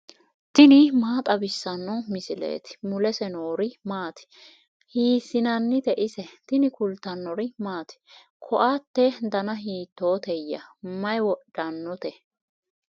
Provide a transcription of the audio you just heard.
tini maa xawissanno misileeti ? mulese noori maati ? hiissinannite ise ? tini kultannori maati? koatte danna hiittootteya? Mayi wodhannotte?